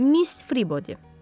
Miss Fribodi.